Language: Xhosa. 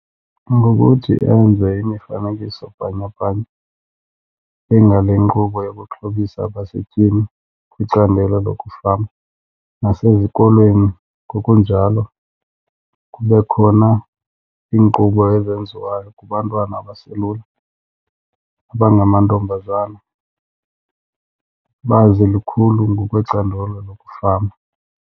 Ngokuthi enze imifanekiso bhanyabhanya engale nkqubo yokuxhobisa abasetyhini kwicandelo lokufama. Nasezikolweni ngokunjalo kube khona iinkqubo ezenziwayo kubantwana abaselula abangamantombazana, bazi lukhulu ngokwecandelo lokufama.